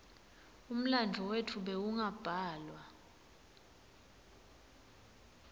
umlandvo wetfu bewungabhalwa